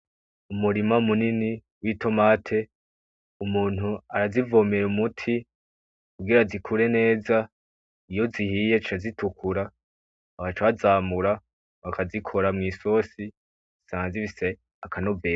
Umurima munini witomate, umuntu arazivomera umuti , kugira zikure neza iyo zihiye zica zitukura bagaca bazamura bakazikora mwisosi, ziba zifise akanovera.